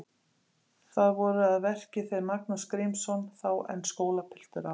Þar voru að verki þeir Magnús Grímsson, þá enn skólapiltur á